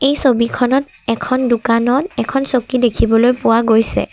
এই ছবিখনত এখন দোকানত এখন চকী দেখিবলৈ পোৱা গৈছে।